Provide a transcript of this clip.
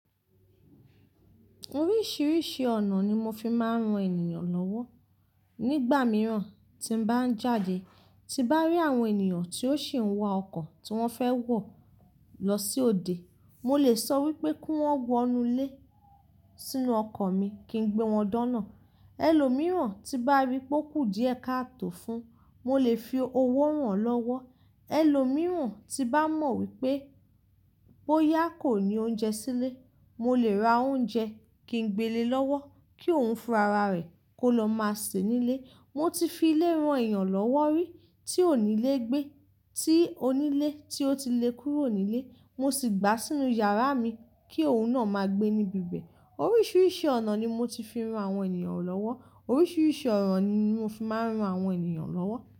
Oríṣiríṣi ọ̀nà ni mo fi máa ń ran ènìyàn lọ́wọ́. Nígbà mìíràn tí n bá ń jáde, tí bá rí àwọn ènìyàn tí ó sì ń wa ọkọ̀ tí wọ́n fẹ́ wọ̀ lọ sí òde, mo lè sọ wípé kí wón wọ inú lé sínú ọkọ̀ mi kí n gbé wọn dọ́nà. Ẹ̀lòmíràn tí bá rí pé ó kú díẹ̀ kà tò fún, mo lè fi owó rààn lọ́wọ́. Ẹ̀lòmíràn tí bá mọ̀ wípé bóyá kò ní oúnjẹ sílé, mo lè ra oúnjẹ kí n gbélé lọ́wọ́, kí òun fún rara rẹ̀ kó lọ máa sè nílé. Mo ti fi ilé ran èèyàn lọ́wọ́ rí, tí ò nílé gbé. Tí onílé tí ó ti le kúrò nílé, mo sì gbà sínú yàrá mi kí òun náà máa gbé níbi ibẹ̀. Oríṣiríṣi ọ̀nà ni mo ti fi ran àwọn ènìyàn lọ́wọ́. Oríṣiríṣi ọ̀nà ni mo fi máa ń ran àwọn ènìyàn lọ́wọ́.